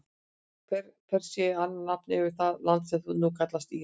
Persía er annað nafn yfir það land sem nú kallast Íran.